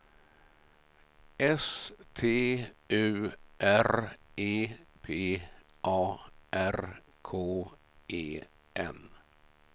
S T U R E P A R K E N